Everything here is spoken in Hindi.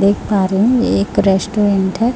देख पा रही हूं एक रेस्टोरेंट है